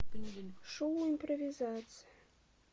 шоу импровизация